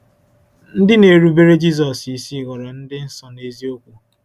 Ndị na-erubere Jizọs isi ghọrọ ndị nsọ n’eziokwu.